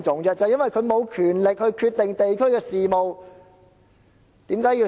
正正因為區議員無權決定地區的事務。